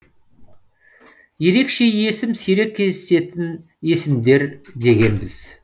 ерекше есім сирек кездесетін есімдер дегенбіз